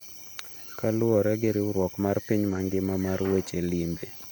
Kaluwore gi riwruok mar piny mangima mar weche limbe.